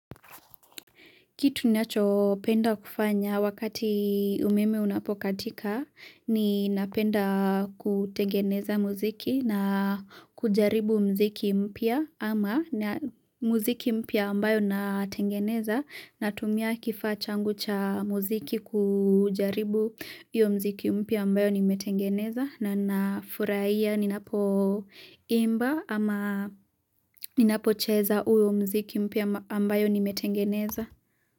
Kitu ninachopenda kufanya wakati umeme unapokatika ninapenda kutengeneza muziki na kujaribu muziki mpya ama muziki mpya ambayo natengeneza natumia kifaa changu cha muziki kujaribu iyo muziki mpya ambayo nimetengeneza na nafuraia ninapoimba ama ninapocheza uyo muziki mpya ambayo nimetengeneza.